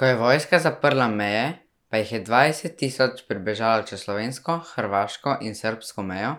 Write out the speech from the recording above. Ko je vojska zaprla meje, pa jih je dvajset tisoč pribežalo čez slovensko, hrvaško in srbsko mejo